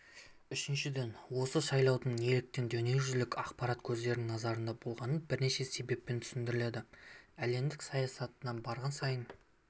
үшіншіден осы сайлаудың неліктен дүниежүзілік ақпарат көздерінің назарында болғаны бірнеше себеппен түсіндіріледі әлемдік саясаттың барған сайын